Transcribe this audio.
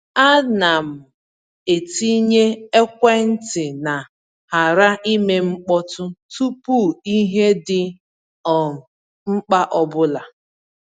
A na m-etinye ekwentị na ‘ghara ime mkpọtụ’ tupu ihe dị um mkpa ọbụla.